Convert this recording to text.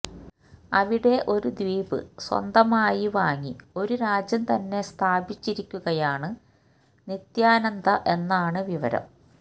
അവിടെ ഒരു ദ്വീപ് സ്വന്തമായി വാങ്ങി ഒരു രാജ്യം തന്നെ സ്ഥാപിച്ചിരിക്കുകയാണ് നിത്യാനന്ദ എന്നാണ് വിവരം